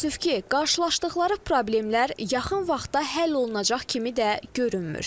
Təəssüf ki, qarşılaşdıqları problemlər yaxın vaxtda həll olunacaq kimi də görünmür.